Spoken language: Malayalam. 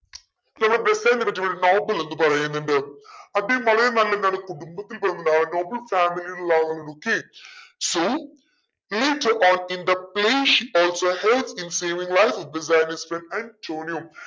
ചില ബെസാനിയോ പറ്റി പറയും noble എന്നു പറയുന്നുണ്ട് അദ്ദേഹം വളരെ നല്ലതാണ് കുടുംബത്തിൽ പിറന്നതാണ് noble family ൽ ഉള്ള ആളാണ് okay so saving life of Bassanio's friend Antonio